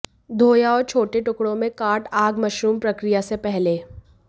धोया और छोटे टुकड़ों में काट आग मशरूम प्रक्रिया से पहले